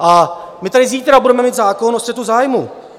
A my tady zítra budeme mít zákon o střetu zájmů.